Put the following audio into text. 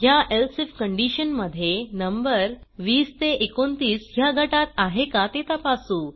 ह्या else if condition मध्ये number 20 29 ह्या गटात आहे का ते तपासू